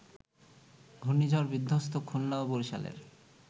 ঘূর্ণিঝড়-বিধ্বস্ত খুলনা ও বরিশালের